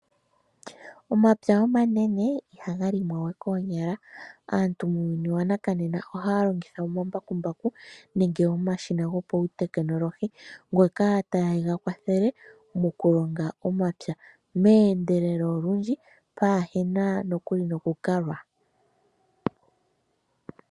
Omapya omanene ihaga limwa ye koonyala. Aantu muuyuni wanakanena ohaya longitha omambakumbaku nenge omashina ngoka gopawutekinolohi ngoka taye ga kwathele mokulonga omapya meendelelo olundji pwaahena nande oku kalwa.